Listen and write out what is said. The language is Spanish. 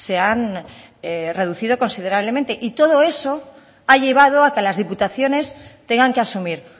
han reducido considerablemente y todo eso ha llevado a que las diputaciones tengan que asumir